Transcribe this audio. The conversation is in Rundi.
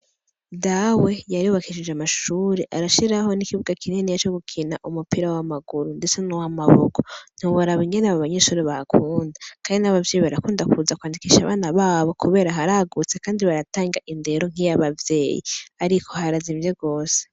Dawe yarebakishije amahshuri arashiraho n'ikibuwa kineni ya co gukina umupira w'amaguru, ndetse n'uwo amaboko ntiwabaraba ingene abo banyeshuri bakunda, kandi n'abavyeyi barakunda kuza kwandikisha abana babo, kubera haragutse, kandi baratanga indero nk'iyabavyeyi, ariko harazi imvye rose.